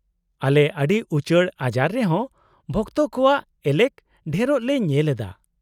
-ᱟᱞᱮ ᱟᱹᱰᱤ ᱩᱪᱟᱹᱲ ᱟᱡᱟᱨ ᱨᱮᱦᱚᱸ ᱵᱷᱚᱠᱛᱚ ᱠᱚᱣᱟᱜ ᱮᱞᱮᱠ ᱰᱷᱮᱨᱚᱜ ᱞᱮ ᱧᱮᱞ ᱮᱫᱟ ᱾